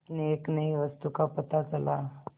उसे एक नई वस्तु का पता चला